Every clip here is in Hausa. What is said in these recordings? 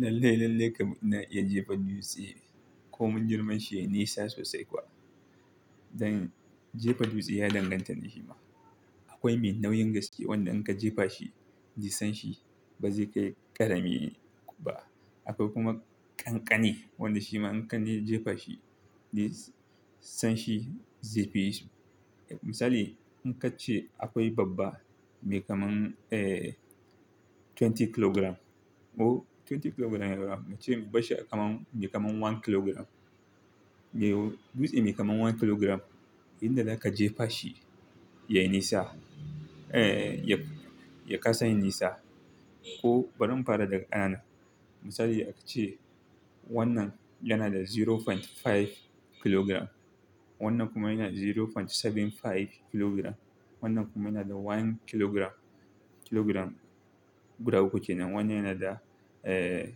Lalle, lalle ka ina iya jefa dutse ko mun girman shi yayi nisa sosai kuwa. Dan jefa dutse ya danganta ne shi ma. Akwai me nauyin gaske wanda in ka jefa shi, ji san shi ba zai kai ƙarami ba. Akwai kuma ƙanƙani wanda shi ma in ka je jefa shi, ni san shi zai fi. Misali in ka ce akwai babba mai kaman, eh, twenty kilograms or twenty kilograms ya gama, mu ce basshi kamar mai kamar one kilogram. Ehe dutse mai kamar one kilogram, inda za ka jefa shi ya yi nisa, eh, ya, ya kasa nisa. Ko bari mu fara daga anan. Misali a ce wannan yana da zero point five kilogram, wannan kuma yana da zero point seven five kilogram, wannan kuma yana da one kilogram, kilogram guda uku kenan. Wannan yana da, eh,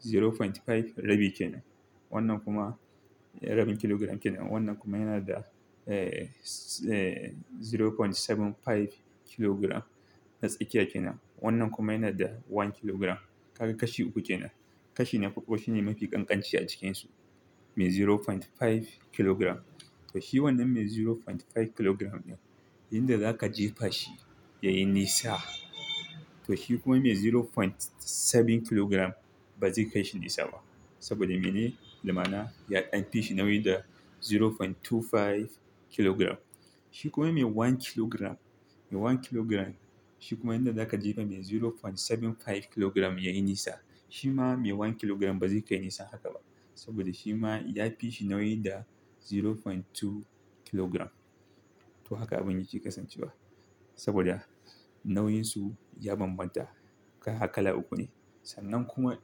zero point five rabi kenan. Wannan kuma rabin kilogram kenan. Wannan kuma yana da, eh, zero point seven five kilogram na tsakiya kenan. Wannan kuma yana da one kilogram. Kaga kashi uku kenan. Kashi na farko shine mafi ƙanƙanci a cikinsu. Mai zero point five kilogram. To shi wannan mai zero point five kilogram ne, inda za ka jefa shi ya yi nisa. To shi kuma mai zero point seven kilogram ba zai kai shi nisa ba. Saboda mene? Da mana ya ɗan fishi nauyi da zero point two five kilogram. Shi kuma mai one kilogram, mai one kilogram shi kuma inda za ka jefa mai zero point seven five kilogram ya yi nisa. Shi ma mai one kilogram ba zai kai nisa haka ba. Saboda shi ma ya fi shi nauyi da zero point two kilogram. To haka abin yake kasancewa. Saboda nauyinsu ya bambanta. Har kala uku ne. Sannan kuma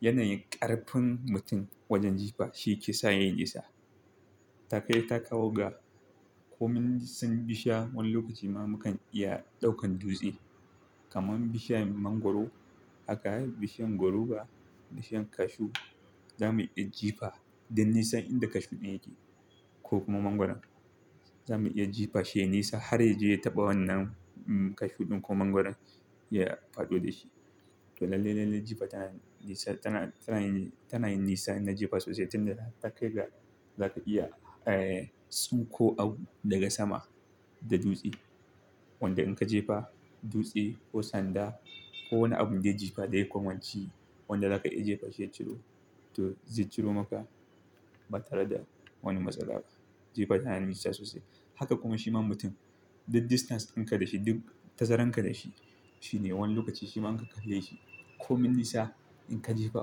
yanayin ƙarfin mutum wajen jifa shi ke sa ya yi nisa. Ta kai ta kawo ga, ko mun sun bi sha wani lokaci ma mukan iya ɗaukan dutse. Kaman bi shiyan mangwaro. Haka bi shiyan goru ba, bi shiyan cashew. Za mu iya jefa duk nisan inda cashew ɗin yake ko kuma mangwaron. Za mu iya jefa shi nisa har ya je ya taɓa wannan cashew ɗin ko mangwaron ya faɗo da shi. To lalle, lalle jefa tana nisa, tana, tana yin, tana yin nisa, ina jefa sosai. Tin da haka ta kai ga za ka iya, eh, tsinko abu daga sama da dutse. Wanda in ka jefa dutse ko sanda ko wani abun zai jefa zai komaci wanda za ka iya jefa shi ya ciro. To zai ciro maka ba tare da wani matsala ba. Jefa tana nisa sosai. Haka kuma shi ma mutum duk distance in ka da shi duk tazarar ka da shi, shi ne wani lokaci shi ma in ka karya shi ko mun nisa in ka jefa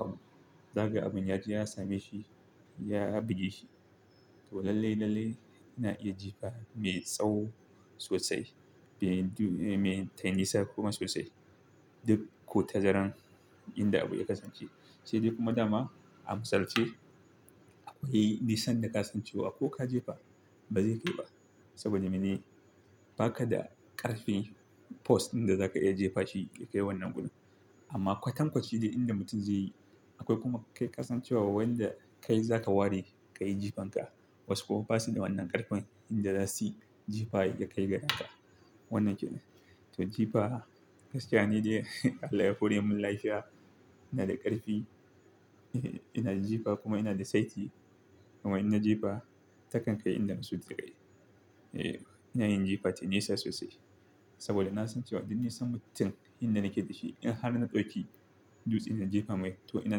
abu, za ga abun ya, ya same shi, ya buge shi. To lalle, lalle ina iya jefa mai tsawo sosai. Mai du-- mai tayi nisa kuma sosai. Duk ko tazara inda abu ya kasance. Sai dai kuma dama a misal ce akwai nisan da ka san cewa ko ka jefa ba zai kai ba. Saboda mene? Ba ka da ƙarfin force ɗinda za ka iya jefa shi ya kai wannan gudu. Amma kwatankwaci ne inda mutum zai yi. Akwai kuma kai kasancewa wanda kai za ka ware ka yi jifanka. Wasu kuma basu da wannan ƙarfin inda za su yi jifa ya kai ga daka. Wannan kenan. To jifa gaskiya ni dai Allah ya hore mun lafiya. Ina da ƙarfi, eh, ina da jifa kuma ina da saiti. Kuma in na jefa ta kan kai inda mun so ta kai. Eh, ina yin jifa tayi nisa sosai. Saboda na san cewa duk nisan mutum inda nake da shi in har na ɗauki dutse ina jefa mai to ina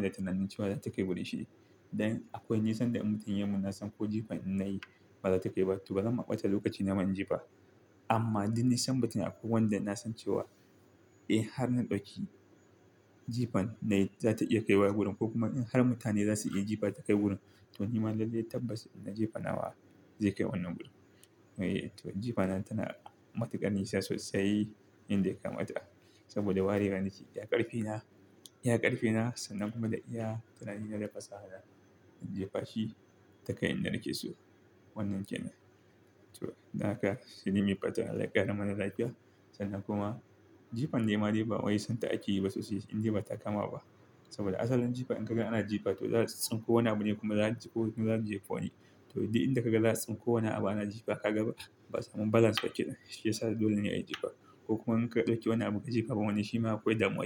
da tunanin cewa za ta kai wurin shi. Dan akwai nisan da mutum ya mun na san ko jifa in na yi ba za ta kai ba. To bazan maɓata lokaci na mun jefa. Amma duk nisan mutum akwai wanda na san cewa, eh har na ɗauki jifan na yi za ta iya kaiwa wurin ko kuma in har mutane za su iya jefa ta kai wurin. To ni ma lalle tabbas ina jefa nawa zai kai wannan gudu. Eee to jifa nan tana matuƙar nisa sosai inda ya kama ta. Saboda warewar dashi ya ƙarfina, ya ƙarfina sannan kuma da iya tunani na da fasaha in jefa shi ta kai inda nake so. Wannan kenan. To haka shine me patan Allah ya ƙara mana lafiya. Sannan kuma jifan dai ma dai ba wai son ta aiki sosai inda ba ta kama ba. Saboda asalin jifa in ka ga ana jifa to za ka tsinko wani abu ne kuma za ku, kuma za mu jefa ne. To duk inda ka ga za ka tsinko wani abu ana jifa ka ga ba, ba zan so kiɗan shi ya sa dole ne a yi jefa. Ko kuma in ka ɗauki wani abu ka jefa wannan shi ma akwai damuwa.